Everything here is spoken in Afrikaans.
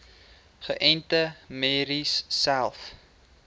geënte merries selfs